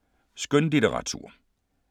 Skønlitteratur